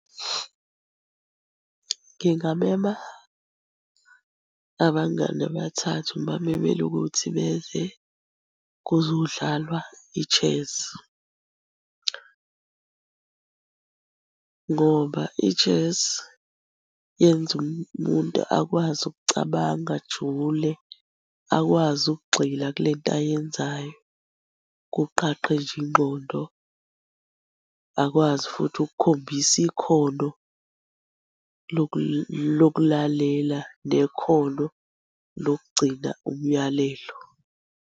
Ngingamema abangani abathathu ngibamemele ukuthi beze kuzodlalwa i-chess, ngoba i-chess yenza umuntu akwazi ukucabanga ajule. Akwazi ukugxila kule nto ayenzayo kuqaqe nje ingqondo. Bakwazi futhi ukukhombisa ikhono lokulalela nekhono lokugcina umyalelo.